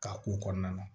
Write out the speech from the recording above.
Ka ko kɔnɔna na